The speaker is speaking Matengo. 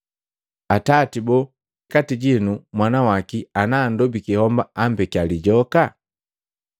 Atati boo kati jinu mwana waki ana anndobiki homba ampekia lijoka?